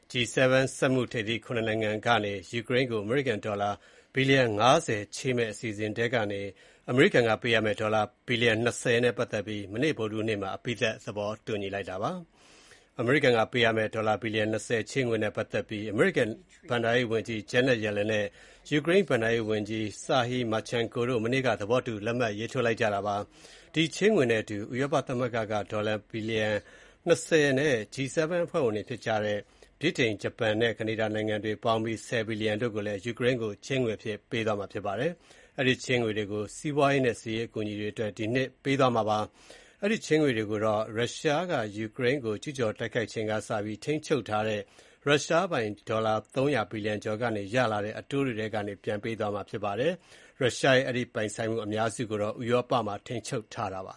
G7 စက်မှုထိပ်သီး ၇ နိုင်ငံကနေ ယူကရိန်းကို အမေရိကန်ဒေါ်လာ ဘီလျံ ၅၀ ချေးမယ့် အစီအစဉ်ထဲက အမေရိကန်ကပေးရမယ့် ဒေါ်လာ ဘီလျံ ၂၀ နဲ့ ပတ်သက်ပြီး အမေရိကန်ပြည်ထောင်စုဘက်က မနေ့ ဗုဒ္ဓဟူးနေ့မှာ အပြီးသတ်သဘောတူညီလိုက်ပြီဖြစ်ပါတယ်။ အမေရိကန်က ပေးမယ့် ဒေါ်လာဘီလျံ ၂၀ ချေးငွေးနဲ့ပတ်သက်ပြီး အမေရိကန် ဘဏ္ဍာရေးဝန်ကြီး Janet Yellen နဲ့ ယူကရိန်းဘဏ္ဍာရေးဝန်ကြီး Serhiy Marchenko တို့ မနေ့က သဘောတူလက်မှတ်ရေးထိုးခဲ့ကြပါတယ်။ ဒီချေးငွေနဲ့ အတူ ဥရောပသမဂ္ဂက ဒေါ်လာ ဘီလျံ ၂၀ နဲ့ G7 အဖွဲ့ဝင်တွေဖြစ်ကြတဲ့ ဗြိတိန်၊ ဂျပန်နဲ့ ကနေဒါနိုင်ငံတွေ ပေါင်းပြီး ၁၀ ဘီလျံတို့ကိုလည် ယူကရိန်းကို ချေးငွေအဖြစ် ပေးသွားမှာဖြစ်ပါတယ်။ အဲဒီချေးငွေတွေကို စီးပွားရေးနဲ့ စစ်ရေးအကူအညီတွေအတွက် ဒီနှစ်ကုန်မှာ ပေးသွားမှာဖြစ်ပါတယ်။ အဲဒီချေးငွေတွေကိုတော့ ရုရှားကယူကရိန်းကို ကျူးကျော်တိုက်ခိုက်ချိန်ကစပြီး ထိန်းချုပ်ထားတဲ့ ရုရှားပိုင် ဒေါ်လာ ၃၀၀ ဘီလျံကျော်ကနေ ရလာတဲ့ အတိုးတွေကနေ ပြန်ပေးသွားမှာဖြစ်ပါတယ်။ ရုရှားရဲ့ အဲဒီပိုင်ဆိုင်မှုအများစုကိုတော့ ဥရောပမှာ ထိန်းချုပ်ထားတာဖြစ်ပါ